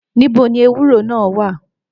Nìbó ni èwúrò ná wà